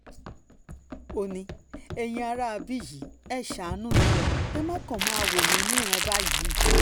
ó ní ẹ̀yin aráabí yìí ẹ ṣàánú mi ẹ má kàn máa wò mí níran báyìí